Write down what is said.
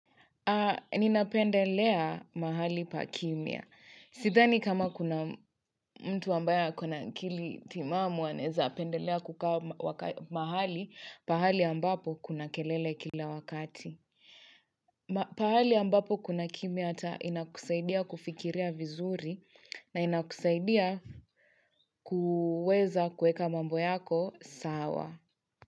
Nina pendelea mahali pa kimya. Sidhani kama kuna mtu ambaye ako na akili timamu anaweza pendelea kukaa mahali pahali ambapo kuna kelele kila wakati. Pahali ambapo kuna kimya hata inakusaidia kufikiria vizuri na inakusaidia kuweza kuweka mambo yako sawa.